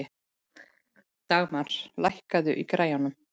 Dagmar, lækkaðu í græjunum.